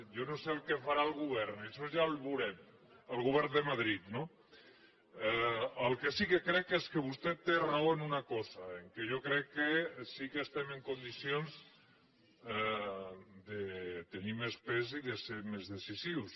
jo no sé què farà el govern això ja ho veurem el govern de madrid no el que sí que crec és que vostè té raó en una cosa que jo crec sí que estem en condicions de tenir més pes i de ser més decisius